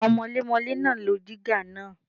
Àwọn mọlémọlé náà lo dígà náà.